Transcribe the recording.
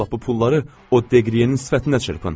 Sabah bu pulları o Deqriyenin sifətinə çırpın.